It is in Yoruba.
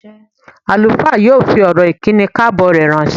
Àlùfáà yóò fi ọ̀rọ̀ ìkíni káàbọ̀ rẹ̀ ránṣẹ́.